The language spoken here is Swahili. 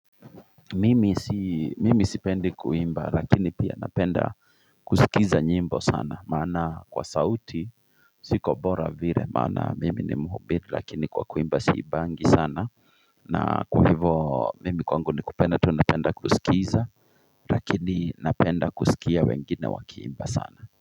Mimi sipendi kuimba lakini pia napenda kusikiza nyimbo sana mana kwa sauti siko bora vire maana mimi ni muhubiri lakini kwa kuimba siimbangi sana na kwa hivo mimi kwangu ni kupenda tu napenda kusikiza lakini napenda kusikia wengine wakiimba sana.